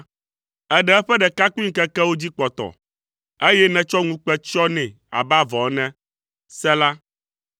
Èɖe eƒe ɖekakpuimeŋkekewo dzi kpɔtɔ, eye nètsɔ ŋukpe tsyɔ nɛ abe avɔ ene. Sela